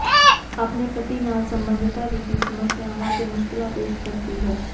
ਆਪਣੇ ਪਤੀ ਨਾਲ ਸੰਬੰਧਤਾ ਵਿੱਤੀ ਸਮੱਸਿਆਵਾਂ ਅਤੇ ਮੁਸ਼ਕਲਾਂ ਪੇਸ਼ ਕਰਦੀ ਹੈ